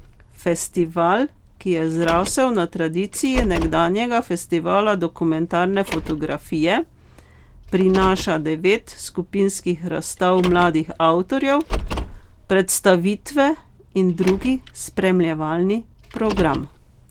Festival ki je zrasel na tradiciji nekdanjega festivala dokumentarne fotografije, prinaša devet skupinskih razstav mladih avtorjev, predstavitve in drugi spremljevalni program.